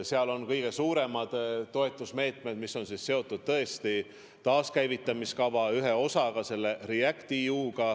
Seal on kõige suuremad toetusmeetmed, mis on seotud taaskäivitamise kava ühe osaga ehk REACT-EU-ga.